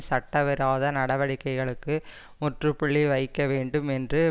சட்டவிரோத நடவடிக்கைகளுக்கு முற்று புள்ளி வைக்க வேண்டும் என்று